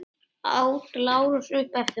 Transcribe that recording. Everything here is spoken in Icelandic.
át Lárus upp eftir honum.